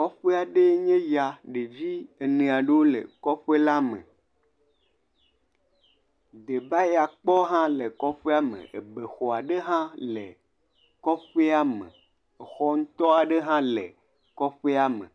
Kɔƒe aɖee nye ya. Ɖevi ene aɖewo le kɔƒe la me. Debayakpɔ hã le kɔƒea me, ebexɔ ɖe hã le kɔƒea me, exɔ ŋutɔ aɖe hã le kɔƒea me.